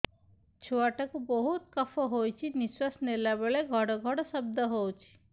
ଛୁଆ ଟା କୁ ବହୁତ କଫ ହୋଇଛି ନିଶ୍ୱାସ ନେଲା ବେଳେ ଘଡ ଘଡ ଶବ୍ଦ ହଉଛି